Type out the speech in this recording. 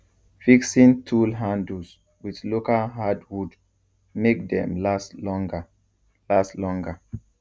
fixing tool handles with local hardwood make dem last longer last longer